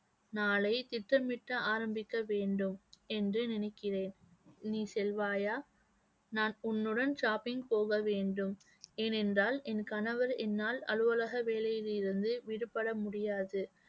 நாளை திட்டமிட்டு ஆரம்பிக்க வேண்டும் என்று நினைக்கிறேன். நீ செல்வாயா நான் உன்னுடன் shopping போக வேண்டும். ஏனென்றால் என் கணவர் என்னால் அலுவலக வேலையில் இருந்து விடுபட முடியாது